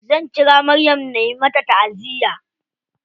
Zan ƙira maryam na mata taʼaziya.